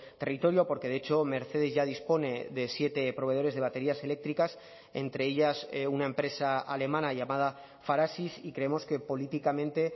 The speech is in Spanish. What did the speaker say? territorio porque de hecho mercedes ya dispone de siete proveedores de baterías eléctricas entre ellas una empresa alemana llamada farasis y creemos que políticamente